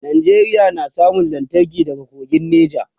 Nigeria na samun lantarki daga kogin nija